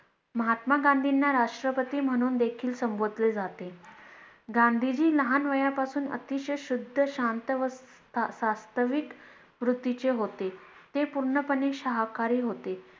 महात्मा गांधींना राष्ट्रपती म्हणून देखील संबोधले जाते गांधीजी लहान वयापणापासून अतिशय शुद्ध शांत वास्तविक वृत्तीचे होते ते पूर्णपणे शाकाहारी होते